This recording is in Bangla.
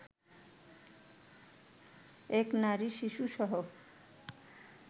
এক নারী-শিশুসহ